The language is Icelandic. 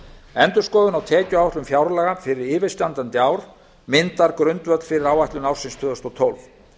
endurskoðun á tekjuáætlun fjárlaga fyrir yfirstandandi ár myndar grundvöll fyrir áætlun ársins tvö þúsund og tólf